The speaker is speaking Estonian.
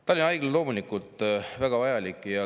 Tallinna Haigla on loomulikult väga vajalik.